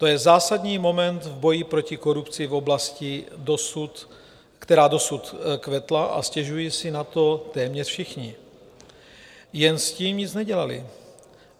To je zásadní moment v boji proti korupci v oblasti, která dosud kvetla, a stěžují si na to téměř všichni, jen s tím nic nedělali.